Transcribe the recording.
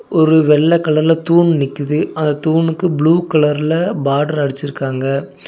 ஒரு வெள்ள கலர்ல தூண் நிக்குது அத தூணுக்கு ப்ளூ கலர்ல பார்டர் அடிச்சிருக்காங்க.